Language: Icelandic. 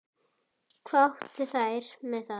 Hvað áttu þær með það?